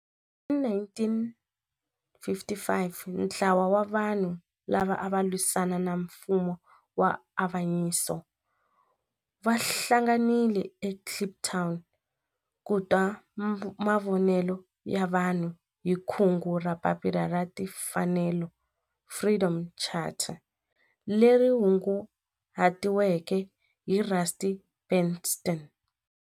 Hi 1955 ntlawa wa vanhu lava ava lwisana na nfumo wa avanyiso va hlanganile eKliptown ku twa mavonelo ya vanhu hi kungu ra Papila ra Tinfanelo, Freedom Charter, leri hunguhatiweke hi Rusty Bernstein.